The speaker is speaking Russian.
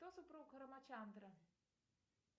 кто супруг рамачантры